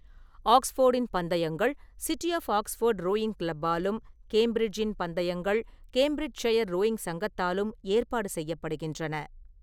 ஆக்ஸ்ஃபோர்டின் பந்தயங்கள் city of Oxford rowing கிளப்பாலும், கேம்பிரிட்ஜின் பந்தயங்கள் கேம்பிரிட்ஜ்ஷயர் ரோயிங் சங்கத்தாலும் ஏற்பாடு செய்யப்படுகின்றன.